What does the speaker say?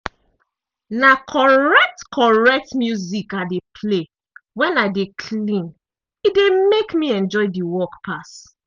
na correct - correct music i dey play wen i dey clean e dey mek me enjoy de work pass.